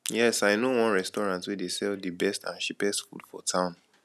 yes i know one restaurant wey dey sell di best and cheapest food for town